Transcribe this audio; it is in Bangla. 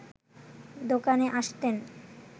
দোকানে আসতেন